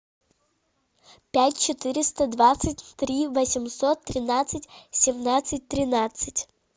пять четыреста двадцать три восемьсот тринадцать семнадцать тринадцать